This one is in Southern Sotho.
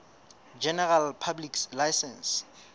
general public license